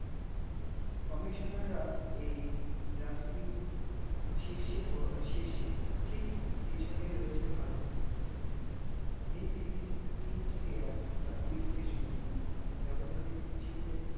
commissioner রা এই raskin শীর্ষে ঠিক পিছনে রয়েছে ভারত, এই series তিন থেকে এক বা দুই থেকে শূন্য বেবধানে জিতলে